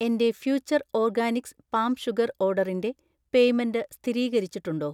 എന്‍റെ future organics palm sugar ഓർഡറിന്‍റെ payment സ്ഥിരീകരിച്ചിട്ടുണ്ടോ?